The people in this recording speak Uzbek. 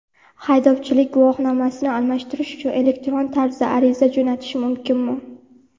Haydovchilik guvohnomasini almashtirish uchun elektron tarzda ariza jo‘natish mumkinmi?.